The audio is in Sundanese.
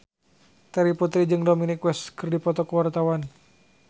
Terry Putri jeung Dominic West keur dipoto ku wartawan